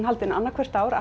haldin annað hvert ár